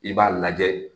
I b'a lajɛ